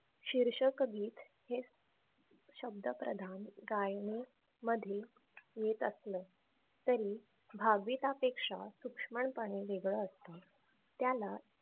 शिर्षक गीत हे शब्द प्रधान गायने मध्ये येत असल तरी भावगीतापेक्षा पुष्कळ पणे वेगळं असत. त्याला